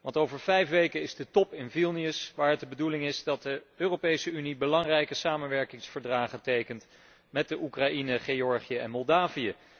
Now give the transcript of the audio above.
Want over vijf weken is de top in Vilnius, waar het de bedoeling is dat de Europese Unie belangrijke samenwerkingsverdragen tekent met Oekraïne, Georgië en Moldavië.